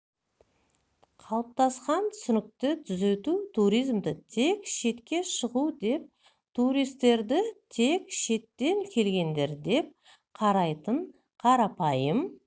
қалыптасқан түсінікті түзету туризмді тек шетке шығу деп туристерді тек шеттен келгендер деп қарайтын қарапайым